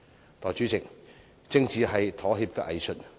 代理主席，政治是妥協的藝術。